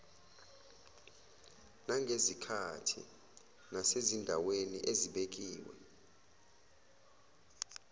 nangezikhathi nasezindaweni ezibekiwe